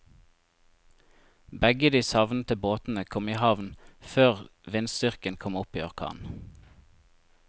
Begge de savnede båtene kom i havn før vindstyrken kom opp i orkan.